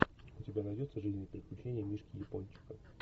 у тебя найдется жизнь и приключения мишки япончика